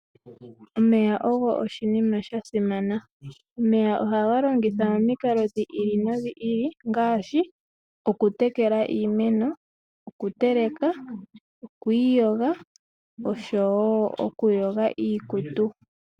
Omeya oga simana. Ohaga longithwa momikalo dhi ili nodhi ili ngaashi okutekela iimeno, okuteleka, okwiiyoga oshowo okuyoga iikutu.